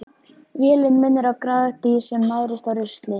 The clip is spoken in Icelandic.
Vélin minnir á gráðugt dýr sem nærist á rusli.